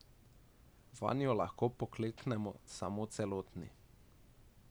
Vanjo lahko pokleknemo samo celotni.